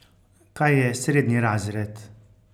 Kaj je srednji razred?